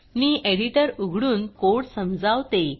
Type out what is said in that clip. मी editor उघडून code समजावते